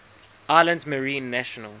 islands marine national